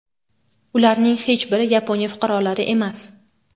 Ularning hech biri Yaponiya fuqarolari emas.